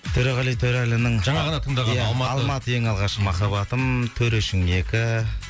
төреғали төрәлінің жаңа ғана тыңдаған алматы алматы ең алғашқы махаббатым төрешім екі